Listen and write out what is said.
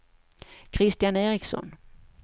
Kristian Ericsson